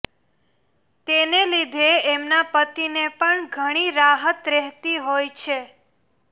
તેને લીધે એમના પતિને પણ ઘણી રાહત રહેતી હોય છે